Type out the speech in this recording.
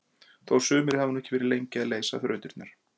Þó sumir hafi nú ekki verið lengi að leysa þrautirnar!